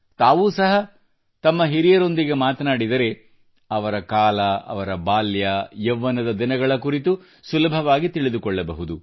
ತಾವೂ ಸಹ ತಮ್ಮ ಹಿರಿಯರೊಂದಿಗೆ ಮಾತನಾಡಿದರೆ ಅವರ ಕಾಲ ಅವರ ಬಾಲ್ಯ ಯೌವನದ ದಿನಗಳ ಕುರಿತು ಸುಲಭವಾಗಿ ತಿಳಿದುಕೊಳ್ಳಬಹುದು